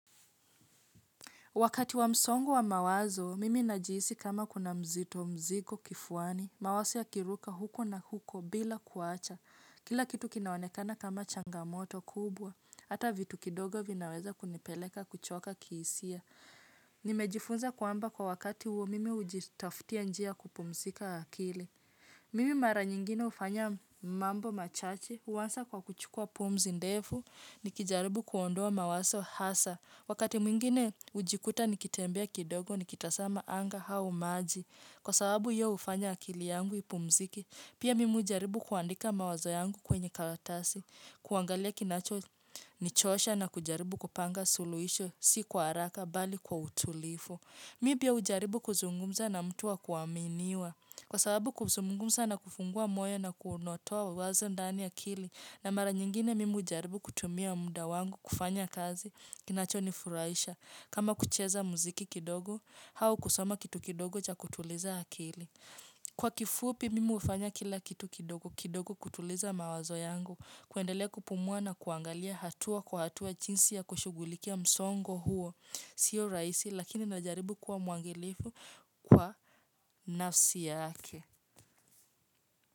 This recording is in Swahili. Wakati wa msongo wa mawazo, mimi najihisi kama kuna mzito mziko kifuani, mawazo yakiruka huko na huko bila kuacha. Kila kitu kinaonekana kama changamoto kubwa, hata vitu kidogo vinaweza kunipeleka kuchoka kihisia. Nimejifunza kwamba kwa wakati huo mimi hujitaftia njia kupumzika akili. Mimi mara nyingine hufanya mambo machache, huwasa kwa kuchukua pumzi ndefu, nikijaribu kuondoa mawazo hasa. Wakati mwingine hujikuta nikitembea kidogo nikitazama anga au maji. Kwa sababu ye hufanya akili yangu ipumzike, pia mimi hujaribu kuandika mawazo yangu kwenye karatasi. Kuangalia kinacho nichosha na kujaribu kupanga suluhisho, si kwa haraka, bali kwa utulivu. Mi pia hujaribu kuzungumza na mtu wa kuaminiwa. Kwa sababu kuzungumza na kufungua moyo na kunotoa wazo ndani akili. Na mara nyingine mimi hujaribu kutumia muda wangu kufanya kazi. Kinachonifurahisha, kama kucheza muziki kidogo, au kusoma kitu kidogo cha kutuliza akili. Kwa kifupi mimi hufanya kila kitu kidogo, kidogo kutuliza mawazo yangu, kuendelea kupumua na kuangalia hatua kwa hatua jinsi ya kushughulikia msongo huo, sio rahisi, lakini najaribu kuwa mwangilifu kwa nafsi yake.